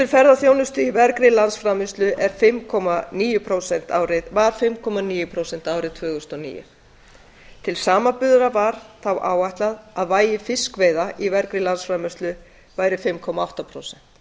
ferðaþjónustu í vergri landsframleiðslu var fimm komma níu prósent árið tvö þúsund og níu til samanburðar var þá áætlað að vægi fiskveiða í af væri fimm komma átta prósent